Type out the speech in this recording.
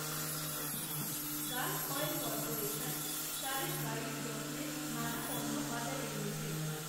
Gulf, oil corporation, তাদের গাড়ির যত্নের নানা পণ্য বাজারে এনেছে